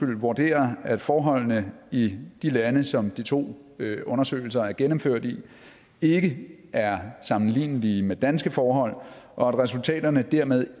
vurderer at forholdene i de lande som de to undersøgelser er gennemført i ikke er sammenlignelige med danske forhold og at resultaterne dermed